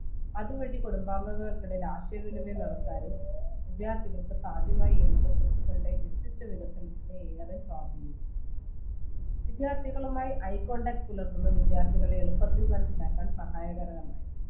അത് വഴി കുടുംബാംഗങ്ങൾക്കിടയിൽ ആശയവിനമയം നടത്താനും വിദ്യാർത്ഥികൾക്ക് സാധ്യമായി എന്നത് കുട്ടികളുടെ വ്യക്തിത്വ വികസനത്തിനെ ഏറെ സ്വാദീനിച്ചു വിദ്യാർത്ഥികളുമായി eye contact പുലർത്തുന്ന വിദ്യാർഥികളെ എളുപ്പത്തിൽ മനസിലാക്കാൻ സഹായകരമായി